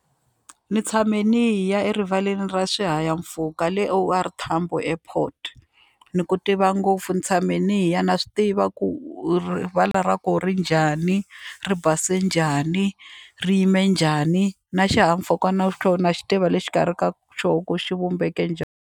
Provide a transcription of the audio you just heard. Ni tshame ni ya erivaleni ra swihahampfhuka le O_R Tambo airport ni ku tiva ngopfu ni tshame ni ya na swi tiva ku rivala ra ku ri njhani ri base njhani ri yime njhani na xihahampfhuka na xoho na xi tiva le xikarhi ka xoho ku xi vumbeke njhani.